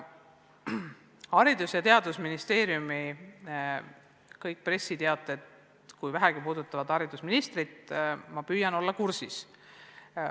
Kõik Haridus- ja Teadusministeeriumi pressiteated, mis vähegi puudutavad haridusministrit – ma püüan olla nendega kursis.